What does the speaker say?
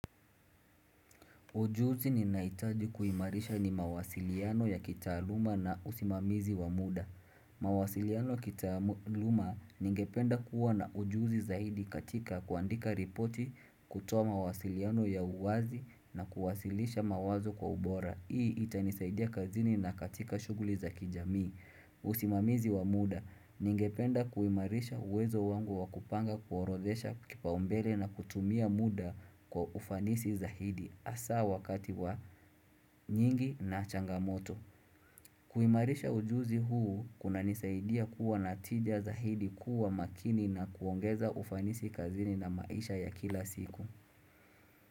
Ujuzi ninaitaji kuimarisha ni mawasiliano ya kitaaluma na usimamizi wa muda. Mawasiliano kitaaluma ningependa kuwa na ujuzi zaidi katika kuandika ripoti kutoa mawasiliano ya uwazi na kuwasilisha mawazo kwa ubora. Hii itanisaidia kazini na katika shuguli za kijamii. Usimamizi wa muda ningependa kuimarisha uwezo wangu wa kupanga kuorodhesha kipaumbele na kutumia muda kwa ufanisi zaidi. Asa wakati wa nyingi na changamoto kuimarisha ujuzi huu kunanisaidia kuwa na tija zaidi kuwa makini na kuongeza ufanisi kazini na maisha ya kila siku.